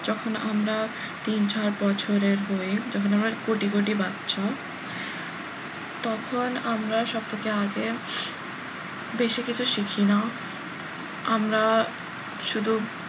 যখন আমরা তিন চার বছরের হয় তখন আমরা কোটি কোটি বাচ্চা তখন আমরা সব থেকে আগে বেশি কিছু শিখি না আমরা শুধু,